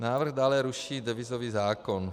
Návrh dále ruší devizový zákon.